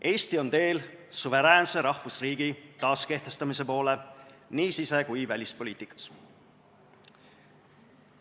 Eesti on teel suveräänse rahvusriigi taaskehtestamise poole nii sise- kui ka välispoliitikas.